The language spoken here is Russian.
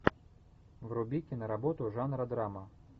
вруби киноработу жанра драма